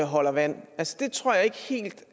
holder vand altså det tror jeg ikke helt